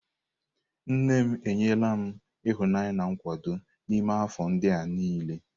Nne m enyela m ịhụnanya na nkwado n'ime afọ ndị a niile.